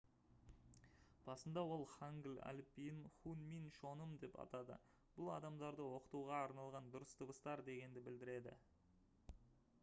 басында ол хангыль әліпбиін хунмин чоным деп атады бұл «адамдарды оқытуға арналған дұрыс дыбыстар» дегенді білдіреді